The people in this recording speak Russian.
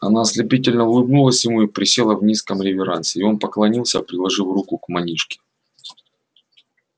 она ослепительно улыбнулась ему и присела в низком реверансе и он поклонился приложил руку к манишке